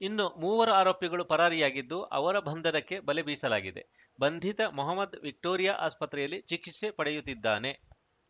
ಇನ್ನು ಮೂವರು ಆರೋಪಿಗಳು ಪರಾರಿಯಾಗಿದ್ದು ಅವರ ಬಂಧನಕ್ಕೆ ಬಲೆ ಬೀಸಲಾಗಿದೆ ಬಂಧಿತ ಮೊಹಮದ್‌ ವಿಕ್ಟೋರಿಯಾ ಆಸ್ಪತ್ರೆಯಲ್ಲಿ ಚಿಕಿತ್ಸೆ ಪಡೆಯುತ್ತಿದ್ದಾನೆ